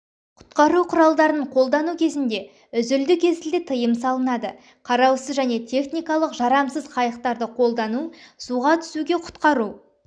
құтқару құралдарын қолдану кезінде үзілді-кесілді тыйым салынады қараусыз және техникалық жарамсыз қайықтарды қолдану суға түсуге құтқару